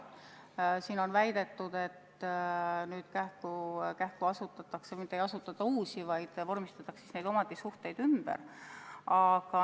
Siin on väidetud, et nüüd mitte ei asutata kähku uusi apteeke, vaid vormistatakse omandisuhteid ümber.